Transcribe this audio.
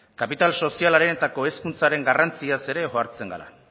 kapital sozialaren eta kohezkuntzaren garrantziaz ere ohartzen gara